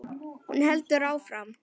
Hún heldur áfram.